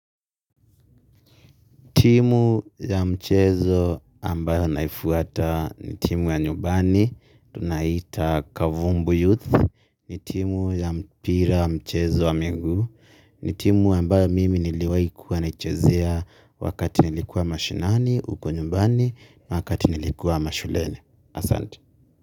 Ni timu ya mchezo ambayo naifuata. Ni timu ya nyumbani. Tunaita Kavumbu Youth. Ni timu ya mpira mchezo wa mengi. N itimu ambayo mimi niliwai kuwa naichezea wakati nilikua mashinani, uko nyumbani, wakati nilikua mashuleni. Asante.